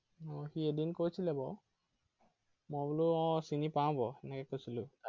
আহ সি এদিন কৈছিলে বাৰু মই বোলো আহ চিনি পাও বাৰু, এনেকে কৈছিলো।